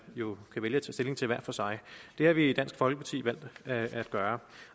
jo kan vælge stilling til hver for sig det har vi i dansk folkeparti valgt at gøre